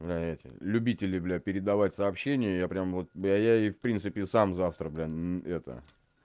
бля эти любители бля передавать сообщения я прямо вот я я и в принципе сам завтра блин это